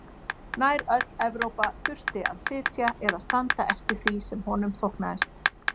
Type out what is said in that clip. Nær öll Evrópa þurfti að sitja eða standa eftir því sem honum þóknaðist.